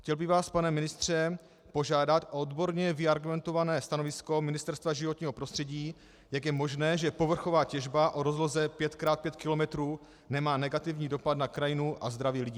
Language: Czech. Chtěl bych vás, pane ministře, požádat o odborně vyargumentované stanovisko Ministerstva životního prostředí, jak je možné, že povrchová těžba o rozloze 5 x 5 km nemá negativní dopad na krajinu a zdraví lidí.